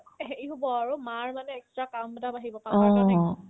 এহে এ হ'ব আৰু মাৰ মানে extra কাম এটা বাঢ়িব কাম